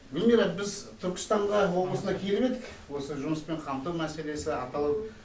гулмира біз түркістанға облысына келіп едік осы жұмыспен қамту мәселесі аталып